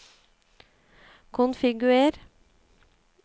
konfigurer